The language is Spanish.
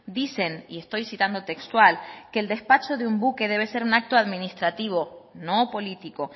dicen y estoy citando textual que el despacho de un buque debe ser un acto administrativo no político